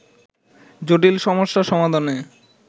জটিল সমস্যা সমাধানে